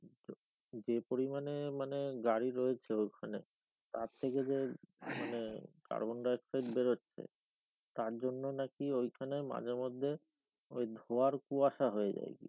যে পরিমাণে মানে গাড়ি রয়েছে ওইখানে তার থেকে যে মানে কার্বন ডাই অক্সাইড বেরোচ্ছে তারজন্য নাকি ওইখানে মাঝে মধ্যে ওই ধোয়ার কুয়াসা হয়ে যায় গিয়ে,